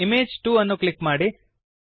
image 2 ಅನ್ನು click ಮಾಡಿ